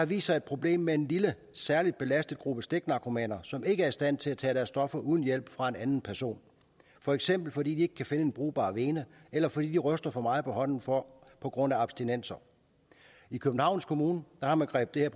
vist sig et problem med en lille særlig belastet gruppe stiknarkomaner som ikke er i stand til at tage deres stoffer uden hjælp fra en anden person for eksempel fordi de ikke kan finde en brugbar vene eller fordi de ryster for meget på hånden på på grund af abstinenser i københavns kommune har man grebet